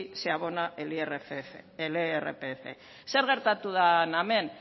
se abona el irpf zer gertatu da hemen